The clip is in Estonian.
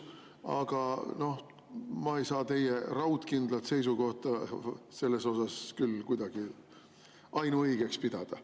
Aga noh, ma ei saa teie raudkindlat seisukohta selles asjas küll kuidagi ainuõigeks pidada.